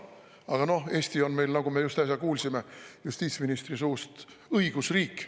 Aga noh, Eesti on meil – nagu me just äsja kuulsime justiitsministri suust – õigusriik.